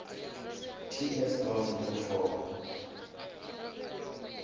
ts gov new form